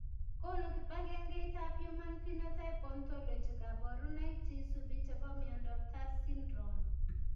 Konu kibagengeitab Human Phenotype Ontology kaborunoik cheisubi chebo miondop TAR syndrome?